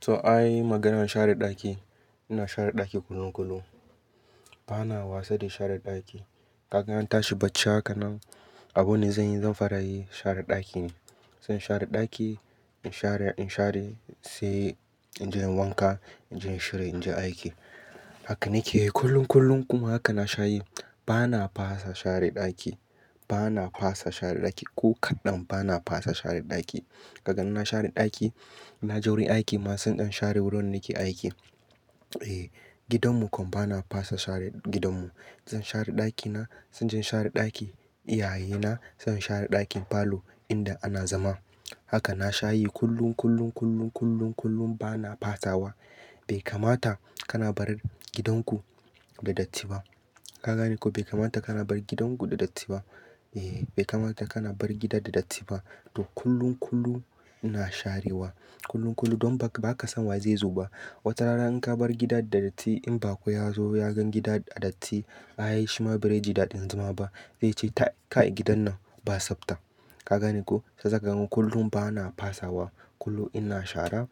To, ai maganar share daki. Ina share daki kullum kullum. Bana wasa da share daki. Kaga in tashi bacci haka nan, abu ne zan yi, zan fara yi share daki ne. Zan share daki, in share, in share, sai in je inyi wanka, in je in shirya in je aiki. Haka nake yi kullum kullum kuma haka na shayi. Bana fasa share daki. Bana fasa share daki ko kaɗan. Bana fasa share daki. Kagani na share daki, na je wurin aiki masu ɗan share wurin nake aiki. Eh, gidanmu kuma bana fasa share gidanmu. Zan share ɗakina, zan je in share ɗaki iyaye na, zan share ɗakin falo inda ana zama. Haka na shayi kullum, kullum, kullum, kullum, kullum bana fasawa. Bai kamata kana barin gidan ku da datti ba. Ka gani ko bai kamata kana bar gidan ku da datti ba? Eh, bai kamata kana bar gida da datti ba. To kullum, kullum ina sharewa. Kullum, kullum don ba ka, ba ka san wa zai zo ba. Wata rana in ka bar gida da datti in bako ya zo ya gan gida a datti, ai shima barai ji daɗin zama ba. Zai ce, "Kai gidan nan ba tsafta." Ka gani ko? Shi yasaka kullum bana fasawa. Kullum ina shara.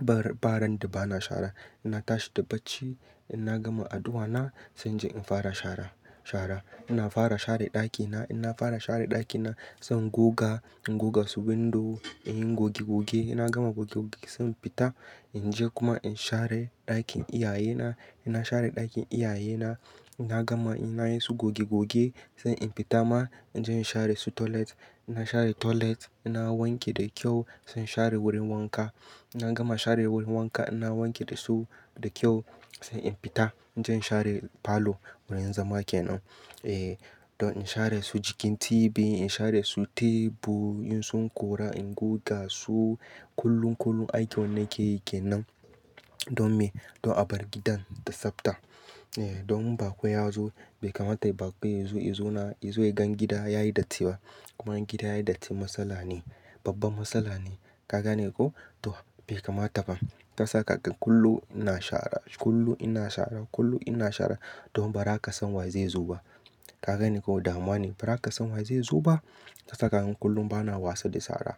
Ba, ba ran da bana shara ina tashi da bacci, ina gama addu'a na, sai in je in fara shara, shara. Ina fara share ɗakina, ina fara share ɗakina. Zan goga, in goga su windo, in yi goge goge. Ina gama goge goge sai in fita in je kuma in share ɗakin iyaye na. Ina share ɗakin iyaye na, ina gama ina yi su goge goge, sai in fita ma in je in share su toilet. Ina share toilet, ina wanke da kyau sai in share wurin wanka. Ina gama share wurin wanka, ina wanke dasu da kyau sai in fita in je in share falo wurin zama kenan. Eh, don in share su jikin TV, in share su tebur, in sun kora, in goga su kullum, kullum aiki wannan ke yi kenan. Don me? Don a bar gidan da tsafta. Eh, don in bako ya zo bai kamata bako ya zo, ya zo na, ya zo ya gan gida yayi datti ba. Kuma gida yayi datti matsala ne, babbar matsala ne. Ka gane ko? To bai kamata ba. Tasa ka kullum ina shara, kullum ina shara, kullum ina shara don ba za ka san wa zai zo ba. Ka gani ko damuwa ne? Ba za ka san wa zai zo ba. Shi yasaka kullum bana wasa da shara.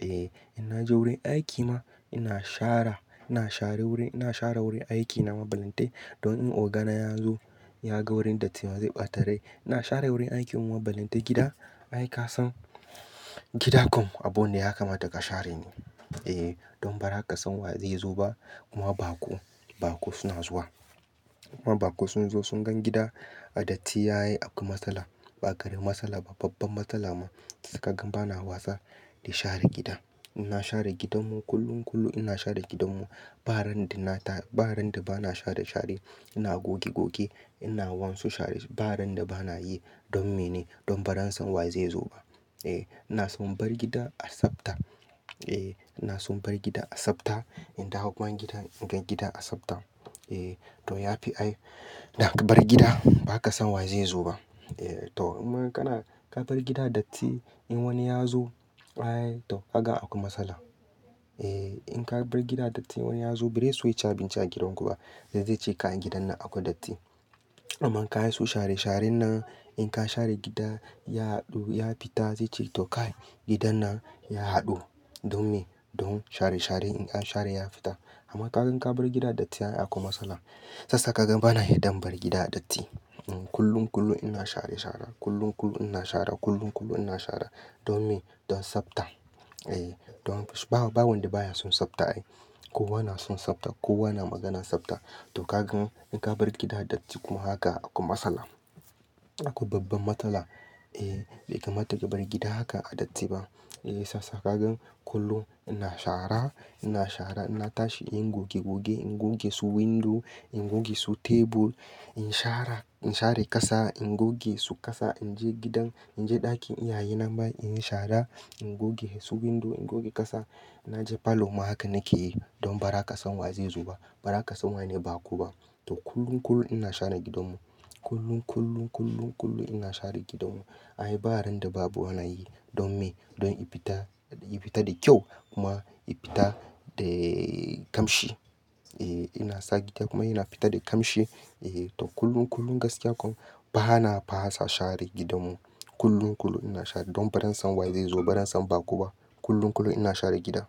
Eh, ina je wurin aiki ma ina shara ina shara wurin, ina share wurin aiki na mabanlltai don in ogana ya zo ya ga wurin datti ma zai ɓata rai ina share wurin aiki mu balle dai gida. Ai kasan gida kuma abu ne ya kamata ka share ne. Eh, don ba za ka san wa zai zo ba. Kuma bako, bakuo suna zuwa. Kuma bako sun zo sun gan gida a datti akwai matsala. Ba karamin matsala ba, babbar matsala ma. Shi yasa kagan bana wasa da share gida. Ina share gidanmu kullum kullum ina share gidanmu. Ba ran da na ta, ba ran da bana share share. Ina goge goge, ina wansu share. Ba ran da bana yi. Don me ne? Don ba zan san wa zai zo ba. Eh, ina son bar gida a tsafta. Eh, ina son bar gida a tsafta. In dawo gidan, in gan gida a tsafta. Eh, to ya fi ai da ka bar gida ba ka san wa zai zo ba. Eh to kuma kana, ka bar gida datti in wani ya zo, ai to kaga akwai matsala. Eh, in ka bar gida datti wani ya zo ba zaiso ya ci abinci a gidan ku ba. Zai ce kai gidan nan akwai datti. Amma ka yi su share share nan, in ka share gida ya haɗu ya fita, zai ce to kai gidan nan ya haɗu. Don me? Don share share in ka share ya fita. Amma ka gan ka bar gida datti ya yi akwai matsala. Shi yasa kaga ban na yarda in bar gida datti. Kullum, kullum ina share share. Kullum, kullum ina share. Kullum, kullum ina share. Don me? Don tsafta. Eh, don ba, ba wanda baya son tsafta ai. Ko wana son tsafta, ko wana maganan tsafta. To ka gan in ka bar gida datti kuma haka aku matsala. Aku babbar matsala. Eh, bai kamata ki bar gida haka a datti ba. Eh sassaƙa gan kullum ina share, ina share. Ina tashi in goge goge, in goge su windo, in goge su tebur, in share, in share ƙasa, in goge su ƙasa. In je gidan, in je ɗakin iyaye na ma in yi share, in goge su windo, in goge ƙasa. Na je falo ma haka nake yi don ba za ka san wa zai zo ba. Ba za ka san waye ne bako ba. To kullum, kullum ina share gidanmu. Kullum, kullum, kullum, kullum ina share gidanmu. Ai ba ran da babu wana yi. Don me? Don in fita, in fita da kyau kuma in fita da ƙamshi. Eh ina sa gida kuma yana fita da ƙamshi. Eh to kullum, kullum gaskiya kuma bana fasa share gidanmu. Kullum, kullum ina share don ba zan san wa zai zo ba, don ba zan san bako ba. Kullum, kullum ina share gida.